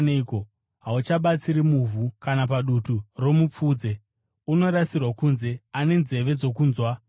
Hauchabatsiri muvhu kana padutu romupfudze; unorasirwa kunze. “Ane nzeve dzokunzwa, ngaanzwe.”